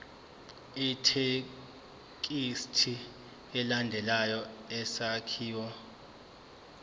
ithekisthi ilandele isakhiwo